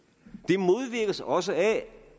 det modvirkes også af